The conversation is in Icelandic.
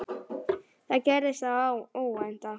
Þá gerðist það óvænta.